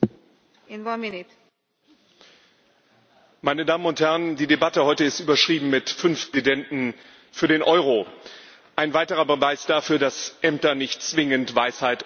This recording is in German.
Frau Präsidentin, meine Damen und Herren! Die Debatte heute ist überschrieben mit Fünf Präsidenten für den Euro ein weiterer Beweis dafür, dass Ämter nicht zwingend Weisheit oder gar Klugheit verleihen.